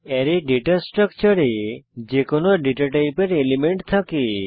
array data স্ট্রাকচারে যে কোনো ডেটা টাইপের এলিমেন্ট থাকে